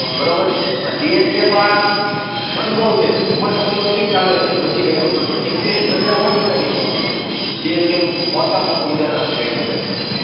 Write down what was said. બરાબર CSK પાસે અનુભવ છે ઉમર તો ઠીક હાલો એમની વધી ગઈ છે, પણ એક્સપિરિયન્સ વધારે હોય ને એ હિસાબે રેટિંગ જીતે CSK નું મોટામાં મોટું ઉદાહરણ આપણે કહી શકાય.